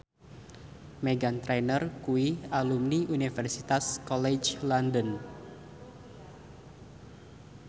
Meghan Trainor kuwi alumni Universitas College London